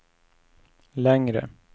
längre